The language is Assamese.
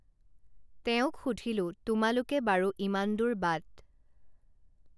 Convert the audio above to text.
তেওঁক সুধিলোঁ তোমালোকে বাৰু ইমান দূৰ বাট